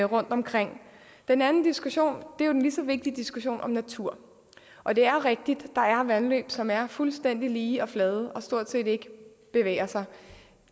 rundtomkring den anden diskussion er jo den lige så vigtige diskussion om natur og det er rigtigt at vandløb som er fuldstændig lige og flade og stort set ikke bevæger sig